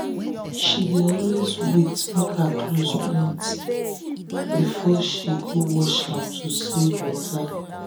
she dey always wait um make her clothes plenty before she um go wash am to save water. um